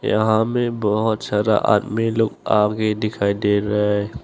यहां में बहुत सारा आदमी लोग आगे दिखाई दे रहा है।